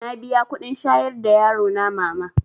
Na biya kuɗin shayar da yarona mama